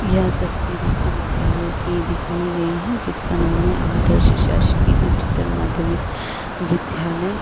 यह तस्वीर एक विद्यालय की दिखाई गई है जिसका नाम है आदर्श सेसस्की उचित और विद विद्यालय--